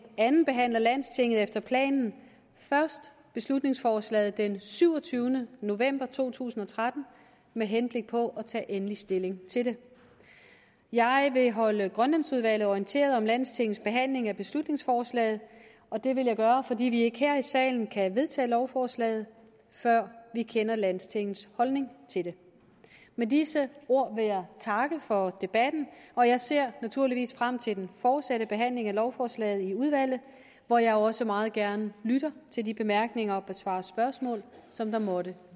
andenbehandler landstinget efter planen først beslutningsforslaget den syvogtyvende november to tusind og tretten med henblik på at tage endelig stilling til det jeg vil holde grønlandsudvalget orienteret om landstingets behandling af beslutningsforslaget og det vil jeg gøre fordi vi ikke her i salen kan vedtage lovforslaget før vi kender landstingets holdning til det med disse ord vil jeg takke for debatten og jeg ser naturligvis frem til den fortsatte behandling af lovforslaget i udvalget hvor jeg også meget gerne lytter til de bemærkninger og besvarer de spørgsmål som der måtte